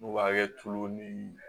N'u b'a kɛ tulu ni